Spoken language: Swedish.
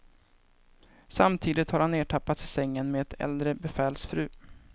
Samtidigt har han ertappats i sängen med ett äldre befäls fru.